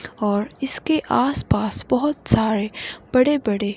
और इसके आसपास बहुत सारे बड़े-बड़े--